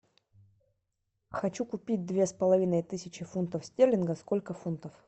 хочу купить две с половиной тысячи фунтов стерлингов сколько фунтов